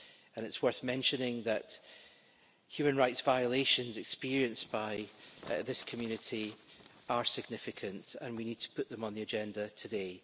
And it's worth mentioning that human rights violations experienced by this community are significant, and we need to put them on the agenda today.